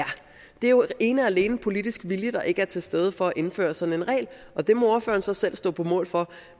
er jo ene og alene politisk vilje der ikke er til stede for at indføre sådan en regel og det må ordføreren så selv stå på mål for